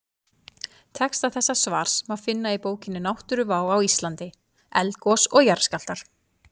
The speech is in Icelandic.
Texta þessa svars má finna í bókinni Náttúruvá á Íslandi: Eldgos og jarðskjálftar.